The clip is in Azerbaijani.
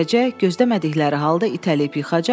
Gözləmədikləri halda itəliyib yıxacaq.